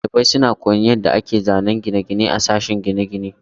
Dalibai suna koyon yadda ake zanen gine-gine a sashen gine-gine.